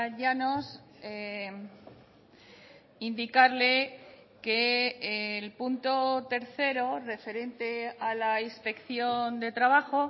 llanos indicarle que el punto tercero referente a la inspección de trabajo